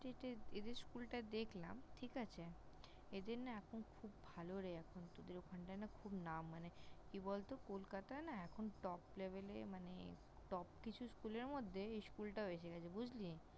এদের School টায় দেখলাম ঠিক আছে। এদের না এখন খুব ভালো রে এখন তোদের ওখানটায় না খুব নাম ।মানে কি বলত কলকাতায় না এখন Top Level -এ মানে Top কিছু School এর মধ্যে এই School টাও এসে গেছে। বুঝলি?